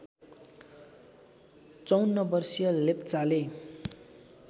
५४ वर्षीय लेप्चाले